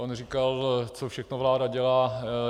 On říkal, co všechno vláda dělá.